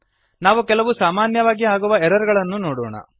ನಾವು ಕೆಲವು ಸಾಮಾನ್ಯವಾಗಿ ಆಗುವ ಎರರ್ ಗಳನ್ನೂ ನೋಡೋಣ